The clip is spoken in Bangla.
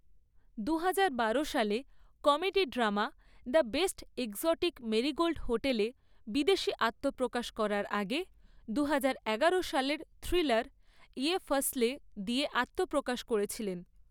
দুহাজার বারো সালে comedy drama 'the best exotic marigold hotel' এ বিদেশী আত্মপ্রকাশ করার আগে, দুহাজার এগারো সালের থ্রিলার 'ইয়ে ফাসলে' দিয়ে আত্মপ্রকাশ করেছিলেন।